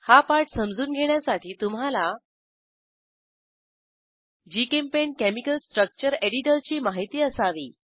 हा पाठ समजून घेण्यासाठी तुम्हाला जीचेम्पेंट केमिकल स्ट्रक्चर एडिटरची माहिती असावी